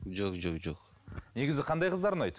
жо жо жоқ негізі қандай қыздар ұнайды